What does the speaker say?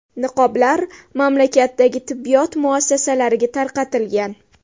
Niqoblar mamlakatdagi tibbiyot muassasalariga tarqatilgan.